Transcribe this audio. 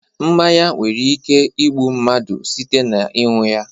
Mmanya nwere ike igbu mmadụ site n'iṅu ya